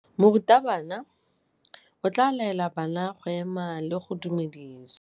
Morutabana o tla laela bana go ema le go go dumedisa.